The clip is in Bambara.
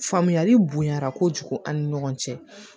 Faamuyali bonya kojugu an ni ɲɔgɔn cɛ